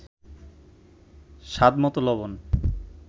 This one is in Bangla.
স্বাদমতো লবণ